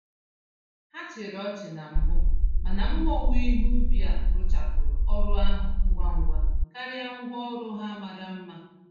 Ha chịrị ọchị na mbụ, mana mma owuwe ihe ubi a rụchapụrụ ọrụ ahụ ngwa ngwa karịa ngwa orụ ha mara mma.